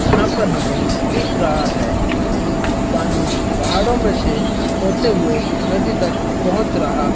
यहां पर हमें दिख रहा है कि पानी पहाड़ों में से होते हुए नदी तक पहुंच रहा--